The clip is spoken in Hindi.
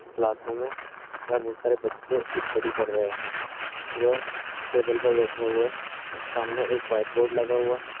क्लासरूम है यहाँ बहुत सारे बच्चे स्टडी कर रहे हैं वह टेबल पर बैठे हुए हैं सामने एक व्हाइट बोर्ड लगा हुआ हैं ।